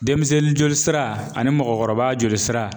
Denmisɛnnin joli sira ani mɔgɔkɔrɔba joli sira